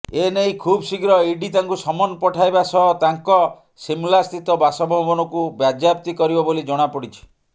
ଏନେଇ ଖୁବଶୀଘ୍ର ଇଡି ତାଙ୍କୁ ସମନ୍ ପଠାଇବା ସହ ତାଙ୍କ ଶିମଲାସ୍ଥିତ ବାସଭବନକୁ ବାଜ୍ୟାପ୍ତି କରିବ ବୋଲି ଜଣାପଡ଼ିଛି